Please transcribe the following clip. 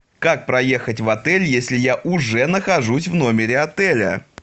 как проехать в отель если я уже нахожусь в номере отеля